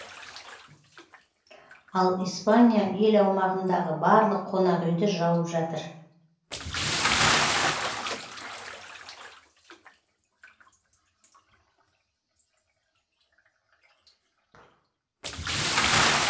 ал испания ел аумағындағы барлық қонақ үйді жауып жатыр